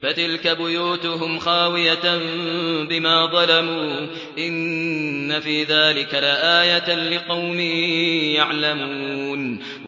فَتِلْكَ بُيُوتُهُمْ خَاوِيَةً بِمَا ظَلَمُوا ۗ إِنَّ فِي ذَٰلِكَ لَآيَةً لِّقَوْمٍ يَعْلَمُونَ